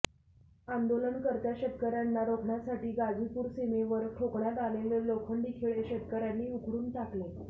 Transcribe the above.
आंदोलनकर्त्या शेतकऱयांना रोखण्यासाठी गाझीपूर सीमेवर ठोकण्यात आलेले लोखंडी खिळे शेतकऱयांनी उखडून टाकले